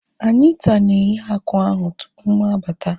Anita na-eghe akwa ahu tupu mụ abata